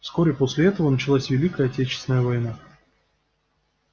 вскоре после этого началась великая отечественная война